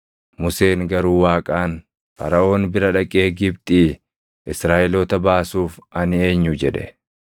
Museen garuu Waaqaan, “Faraʼoon bira dhaqee Gibxii Israaʼeloota baasuuf ani eenyu?” jedhe.